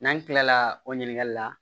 N'an kilala o ɲininkali la